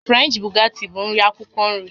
French baguette bụ nri akwukwo nri